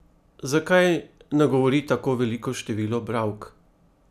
Zakaj nagovori tako veliko število bralk?